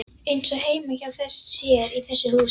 Eins og heima hjá sér í þessu húsi.